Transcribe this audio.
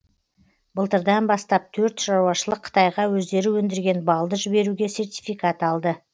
былтырдан бастап төрт шаруашылық қытайға өздері өндірген балды жіберуге сертификат алды